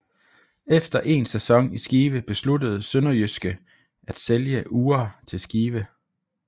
Efter en sæson i Skive besluttede SønderjyskE at sælge Uhre til Skive